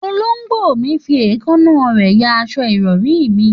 Òlògbò mi fi ẹ̀kaná rẹ yà àsọ ìrọrì mì